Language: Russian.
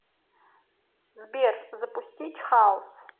сбер запустить хаус